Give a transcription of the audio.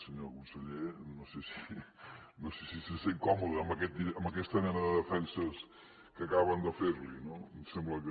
senyor conseller no sé si se sent còmode amb aquesta mena de defenses que acaben de fer li no em sembla que